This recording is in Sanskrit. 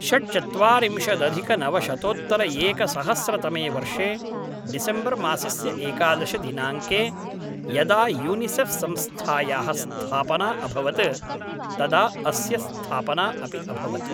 षड्चत्वारिंशदधिकनवशतोत्तरएकसहस्रतमे वर्षे डिसेम्बर् मासस्य एकादश दिनाङ्के यदा यूनिसेफ़् संस्थायाः स्थापना अभवत् तदा अस्य स्थापना अपि अभवत्।